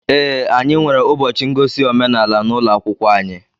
Ee, anyị nwere ụbọchị ngosi omenaala n'ụlọ akwụkwọ anyị